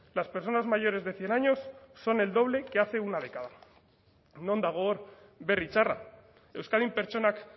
las personas mayores de cien años son el doble que hace una década non dago hor berri txarra euskadin pertsonak